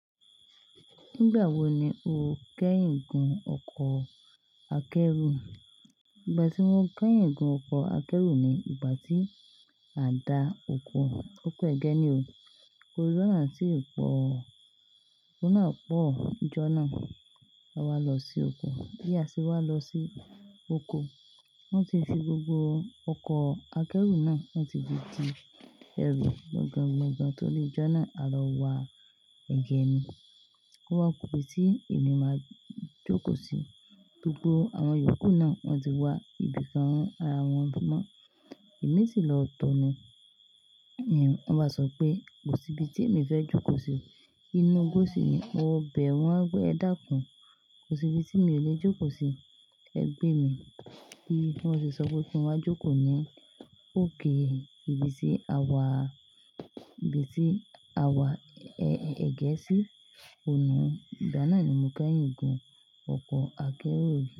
Nígbà wo ni o kẹ́yìn gùn ọkọ̀ akẹ́rù? Ìgbà tí mo kẹ́yìn gùn ọkọ̀ akẹ́rù ni ìgbà tí a da oko. Ókó Ẹgẹ́ ni o. Koríṣà náà sì ń pọ̀. Òun náà pọ̀, nìjọ́ná. A wá lọ sí oko. Bí a ṣe wá lọ sí oko, wọ́n ti fi gbogbo ọkọ̀ akẹ́rù náà, wọ́n ti fi di ẹrù, gangan, gangan tó rí ìjọ́ná, a lọ wa ẹ̀gẹ́ ni. O wá ku ibi tí èmi máa jókòó sí. Gbogbo àwọn yòókù náà wọ́n ti wá ibìkan run ara wọn mọ́. Èmi sì lọ tọni. Wọ́n bá sọ pé kò sí ibi tí èmi fẹ́ jókòó sí. Inú gbósì ni. Mo bẹ̀ wọ́n pé ẹ dákún. Kò sí ibi tí mi ò lè jókòó sí. Ẹ gbé mi. Bi wọn se sọ pé kí n wá jókòó ní òkè ibi tí a wà, ibi tí a wà ẹ̀gẹ́ sí. Òun ni, ìgbà náà ni mo kẹ́yìn gùn ọkọ̀ akẹ́rù rí.